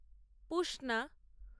পুষনা